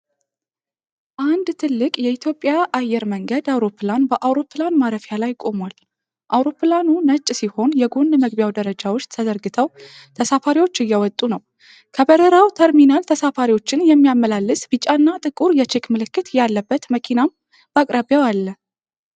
አንድ ትልቅ የኢትዮጵያ አየር መንገድ አውሮፕላን በአውሮፕላን ማረፊያ ላይ ቆሟል። አውሮፕላኑ ነጭ ሲሆን የጎን መግቢያው ደረጃዎች ተዘርግተው ተሳፋሪዎች እየወጡ ነው። ከበረራው ተርሚናል ተሳፋሪዎችን የሚያመላልስ ቢጫና ጥቁር የቼክ ምልክት ያለበት መኪናም በአቅራቢያው አለ።